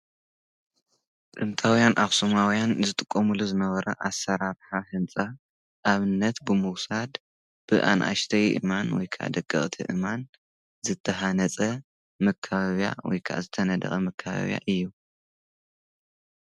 ጥንታውያን ኣኽስማውያን ዝጥቆምሎ ዝነበረ ኣሠራብሓ ሕንፃ ኣብነት ብምዉሳድ ብኣንኣሽተይ እማን ወይካ ደገቕቲ እማን ዘተሓነጸ ምካበብያ ወይካ ዝተነድቐ ምካበብያ እዩ።